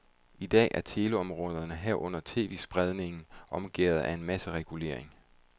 I dag er teleområderne, herunder tv-spredning, omgærdet af en masse regulering.